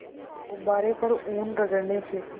गुब्बारे पर ऊन रगड़ने से